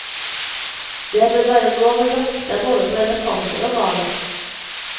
Det bør være lov å jakt både på elefanter og hval.